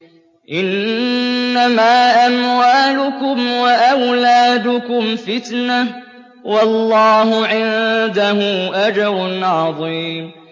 إِنَّمَا أَمْوَالُكُمْ وَأَوْلَادُكُمْ فِتْنَةٌ ۚ وَاللَّهُ عِندَهُ أَجْرٌ عَظِيمٌ